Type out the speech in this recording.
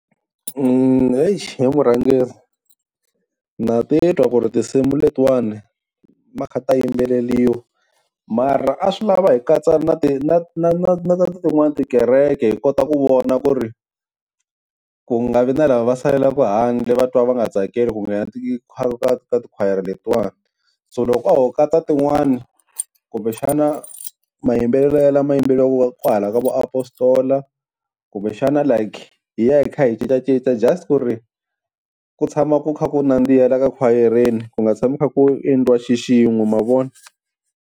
Exi he vurhangeri na titwa ku ri tinsimu letiwani ta kha ta yimbeleriwa mara a swi lava hi katsa na ti na na ta tin'wani tikereke hi kota ku vona ku ri ku nga vi na lava va salelaka handle va twa va nga tsakeli ku nghena tikhwayere letiwani. So loko a ho katsa tin'wani kumbexana mayimbelelo yalawa ya yimbeleliwaka kwahala ka vo Apostle. Kumbexana like hi ya hi kha hi cincacinca just ku ri ku tshama ku kha ku nandziha la ka khwayereni ku nga tshami ku kha ku endliwa xixin'we ma vona.